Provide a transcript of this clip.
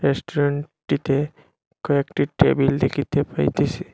রেস্টুরেন্টটিতে কয়েকটি টেবিল দেখিতে পাইতেসি।